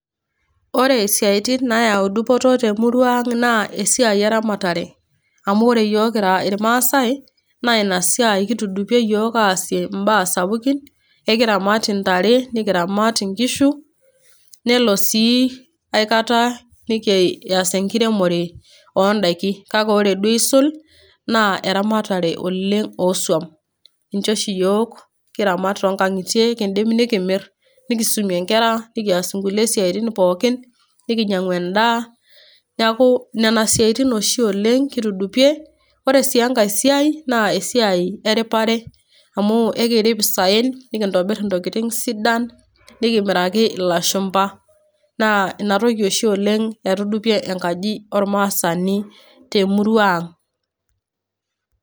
Ore isiaitin nayau dupoto te emurua aang' naa esiai e ramatare. Amu ore iyiok kira ilmaasai naa Ina siai kitudupie iyiok aas imbaa sapukin, ekiramat intare, nekiramat inkishu, nelo sii aikata nekias enkiremore o indaiki, kake duo eisul naa eramatare oleng' oo iswam, ninche oshi iyiok kiramat too inkang'itie, kindim nikimir nikisumie inkera ,nekias inkulie siatin pookin, neking'u endaa. Neaku nena siatin oshi oleng' kitudupie, ore sii enkai siai naa esiai eripare, amu ekirip isaen nekintobir intokitin sidain nekimiraki ilashumba, naa Ina toki eitudupie enkaji ormaasani te emurua aang'.